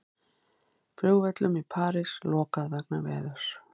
Flugvöllum í París lokað vegna veðurs